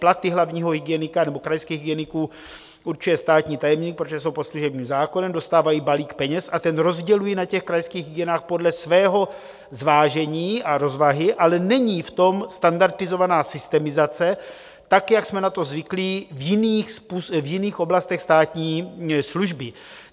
Platy hlavního hygienika nebo krajských hygieniků určuje státní tajemník, protože jsou pod služebním zákonem, dostávají balík peněz a ten rozdělují na těch krajských hygienách podle svého zvážení a rozvahy, ale není v tom standardizovaná systemizace tak, jak jsme na to zvyklí v jiných oblastech státní služby.